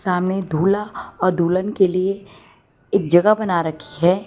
हमें दूल्हा और दुल्हन के लिए एक जगह बना रखी है।